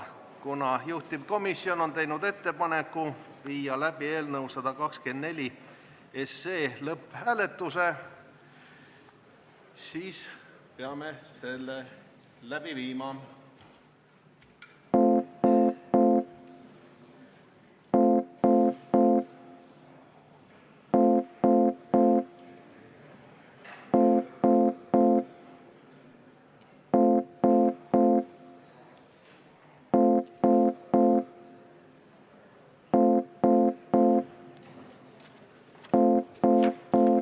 Kuna juhtivkomisjon on teinud ettepaneku viia läbi eelnõu 124 lõpphääletus, siis peame selle läbi viima.